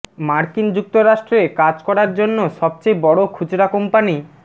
মার্কিন যুক্তরাষ্ট্রে কাজ করার জন্য সবচেয়ে বড় খুচরা কোম্পানি